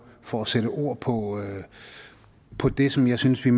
for at sætte ord på på det som jeg synes vi